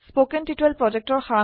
তলৰ সংযোগত থকা ভিডিঅ চাওক